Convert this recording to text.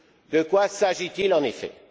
De quoi s'agit il en effet?